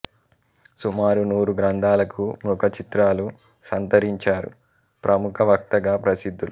సుమారు నూరు గ్రంథాలకు ముఖచిత్రాలు సంతరించారు ప్రముఖ వక్తగా ప్రసిద్ధులు